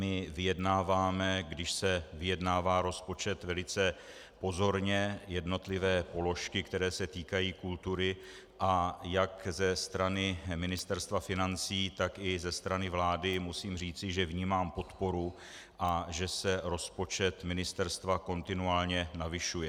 My vyjednáváme, když se vyjednává rozpočet, velice pozorně jednotlivé položky, které se týkají kultury, a jak ze strany Ministerstva financí, tak i ze strany vlády musím říci, že vnímám podporu a že se rozpočet ministerstva kontinuálně navyšuje.